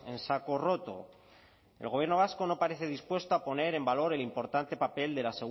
en saco roto el gobierno vasco no parece dispuesto a poner en valor el importante papel de la